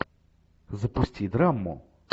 запусти драму